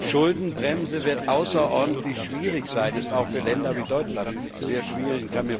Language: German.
Schuldenbremse wird außerordentlich schwierig sein, ist auch für Länder wie Deutschland sehr schwierig.